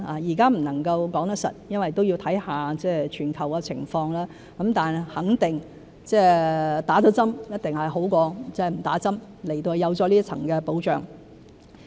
現在不能說實，因為也要看看全球的情況，但肯定接種了一定比沒接種好，因為有多一層保障。